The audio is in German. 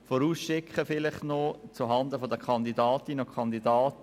Vorausschickend noch zuhanden der Kandidatinnen und Kandidaten: